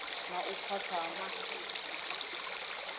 na u khwaṱha ha misipha